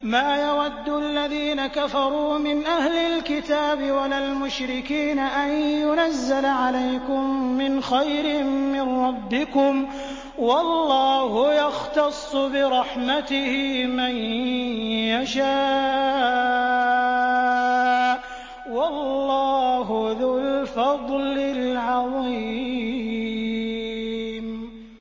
مَّا يَوَدُّ الَّذِينَ كَفَرُوا مِنْ أَهْلِ الْكِتَابِ وَلَا الْمُشْرِكِينَ أَن يُنَزَّلَ عَلَيْكُم مِّنْ خَيْرٍ مِّن رَّبِّكُمْ ۗ وَاللَّهُ يَخْتَصُّ بِرَحْمَتِهِ مَن يَشَاءُ ۚ وَاللَّهُ ذُو الْفَضْلِ الْعَظِيمِ